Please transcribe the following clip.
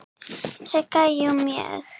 Sigga: Jú, mjög.